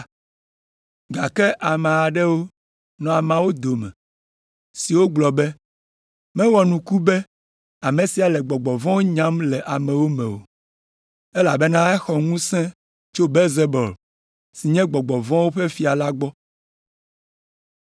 Gake ame aɖewo nɔ ameawo dome siwo gblɔ be, “Mewɔ nuku be ame sia le gbɔgbɔ vɔ̃wo nyam le amewo me o, elabena exɔ ŋusẽ tso Belzebul, si nye gbɔgbɔ vɔ̃wo ƒe fia la gbɔ!”